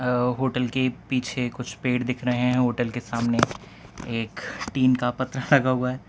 अ hotel के पीछे कुछ पेड़ दिख रहे है होटल के सामने एक टीन का पतरा लगा हुआ है।